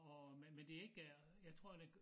Og men men det ikke øh jeg tror det